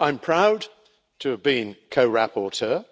I am proud to have been co rapporteur